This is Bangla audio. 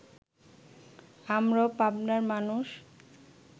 আমরাও পাবনার মানুষ